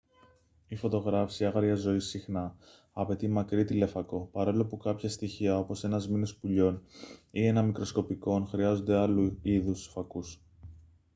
η φωτογράφιση άγριας ζωής συχνά απαιτεί μακρύ τηλεφακό παρόλο που κάποια στοιχεία όπως ένα σμήνος πουλιών ή ένα μικροσκοπικό ον χρειάζονται άλλου είδους φακούς